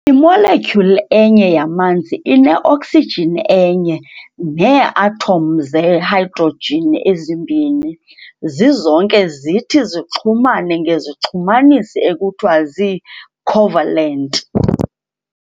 Imolectyhuli enye yamanzi ine-oksijini enye nee-atom zehydrojini ezimbini, zizonke zithi zixhumane ngezixhumanisi ekuthiwa zii-"covalent".